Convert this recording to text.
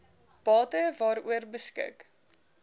bate waaroor beskik